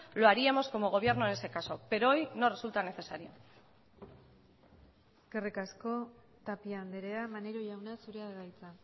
lo haríamos como gobierno en ese caso pero hoy no resulta necesario eskerrik asko tapia andrea maneiro jauna zurea da hitza